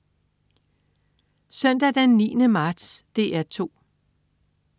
Søndag den 9. marts - DR 2: